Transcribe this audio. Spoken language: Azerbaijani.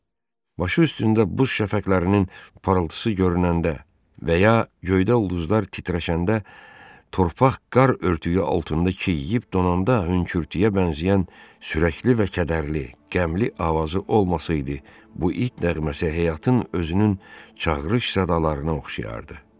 Başı üstündə buz şəfəqlərinin parıltısı görünəndə və ya göydə ulduzlar titrəşəndə, torpaq qar örtüyü altında çiyiyib donanda hönkürtüyə bənzəyən sürəkli və kədərli, qəmli avazı olmasaydı, bu it nəğməsi həyatın özünün çağırış sədalarına oxşayardı.